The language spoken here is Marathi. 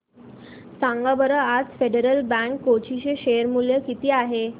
सांगा बरं आज फेडरल बँक कोची चे शेअर चे मूल्य किती आहे